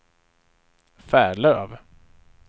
Färlöv